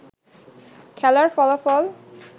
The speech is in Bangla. খেলার ফলাফল